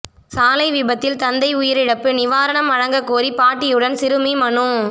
சாலை விபத்தில் தந்தை உயிரிழப்பு நிவாரணம் வழங்கக்கோரி பாட்டியுடன் சிறுமி மனு